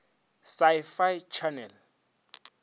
sci fi channel